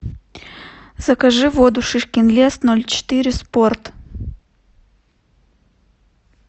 закажи воду шишкин лес ноль четыре спорт